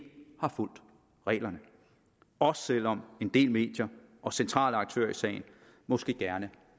har fulgt reglerne også selv om en del medier og centrale aktører i sagen måske gerne